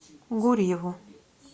гурьеву